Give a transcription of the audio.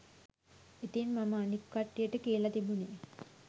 ඉතින් මම අනික් කට්ටියට කියල තිබුණේ